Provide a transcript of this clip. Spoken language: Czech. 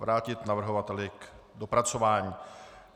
Vrátit navrhovateli k dopracování.